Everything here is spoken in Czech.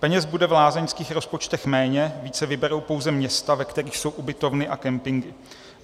Peněz bude v lázeňských rozpočtech méně, více vyberou pouze města, ve kterých jsou ubytovny a campingy.